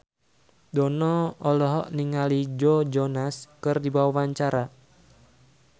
Dono olohok ningali Joe Jonas keur diwawancara